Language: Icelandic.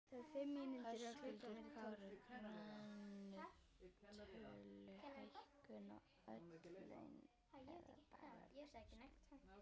Höskuldur Kári: Krónutöluhækkun á öll laun eða bara lægstu?